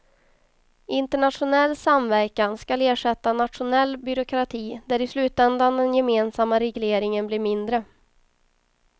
Internationell samverkan skall ersätta nationell byråkrati där i slutändan den gemensamma regleringen blir mindre.